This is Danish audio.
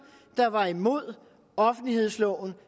der var imod offentlighedsloven